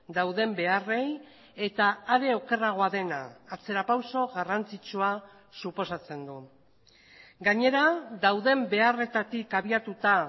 dauden beharrei eta are okerragoa dena atzera pauso garrantzitsua suposatzen du gainera dauden beharretatik habiatuta